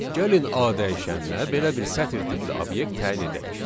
Gəlin A dəyişəninə belə bir sətr tipli obyekt təyin edək.